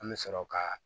An bɛ sɔrɔ ka